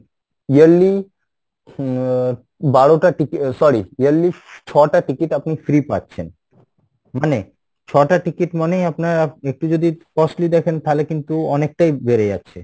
yearly আহ বারো টা ticket sorry yearly ছ টা ticket আপনি free পাচ্ছেন, মানে ছটা ticket মানেই আপনার একটু যদি costly দেখেন তালে কিন্তু অনেকটাই বেড়ে যাচ্ছে।